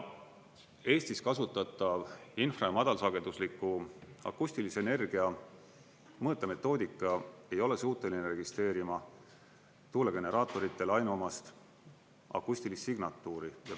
Eestis kasutatav infra‑ ja madalsagedusliku akustilise energia mõõtemetoodika ei ole suuteline registreerima tuulegeneraatoritele ainuomast akustilist signatuuri.